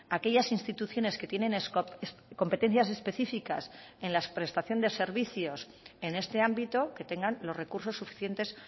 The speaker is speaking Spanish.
a aquellas instituciones que tienen competencias específicas en la prestación de servicios en este ámbito que tengan los recursos suficientes